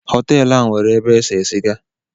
Hotel a nwere ebe ese siga